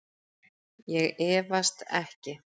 Ég efast ekki.